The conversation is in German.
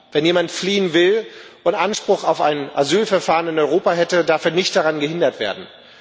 Wenn jemand fliehen will und Anspruch auf ein Asylverfahren in Europa hätte, darf er nicht daran gehindert werden.